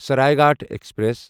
Saraighat express